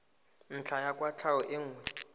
ntlha ya kwatlhao e nngwe